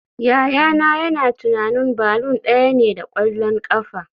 Yayana yana tunanin balloon daya ne da kwallon kafa